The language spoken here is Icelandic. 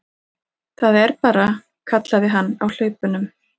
Það er bara, kallaði hann á hlaupunum.